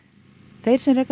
þeir sem reka